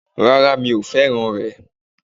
Rárá mi ò fẹ́ràn rè